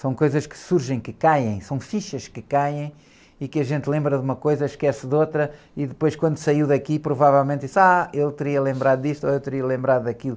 São coisas que surgem, que caem, são fichas que caem e que a gente lembra de uma coisa, esquece de outra e depois quando saiu daqui provavelmente diz, ah, eu teria lembrado disto ou eu teria lembrado daquilo.